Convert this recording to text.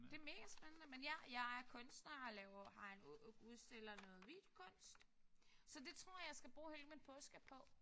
Det er megaspændende. Men ja jeg er kunstner og laver har en ud udstiller noget videokunst. Så det tror jeg jeg skal bruge hele min påske på